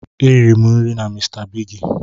E riri m nri na mr bigi